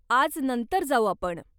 आज नंतर जाऊ आपण.